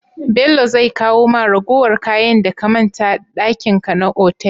Bello zai kawo ma ragowar kayan da ka manta dakin ka na otal?